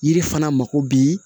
Yiri fana mako bɛ